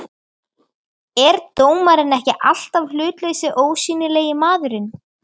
er dómarinn ekki alltaf hlutlausi, ósýnilegi maðurinn?